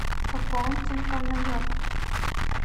пополнить телефон на йоту